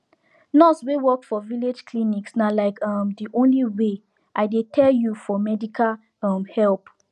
nurse wey sabi work for village clinics na like um de only way i dey tell you for medical um help